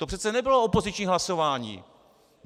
To přece nebylo opoziční hlasování.